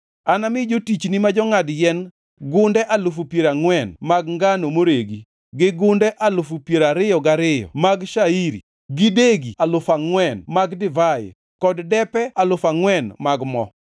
Anami jotichni ma jongʼad yien gunde alufu piero angʼwen (40,000) mag ngano moregi, gi gunde alufu piero ariyo gariyo (20,000) mag shairi gi degi alufu angʼwen (4,000) mag divai kod depe alufu angʼwen (4,000) mag mo.”